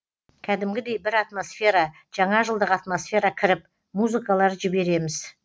кәдімгідей бір атмосфера жаңа жылдық атмосфера кіріп музыкалар жібереміз